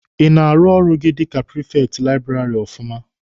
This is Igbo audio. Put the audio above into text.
Ị na-arụ ọrụ gị dika prifekti laịbụrarị ọfụma?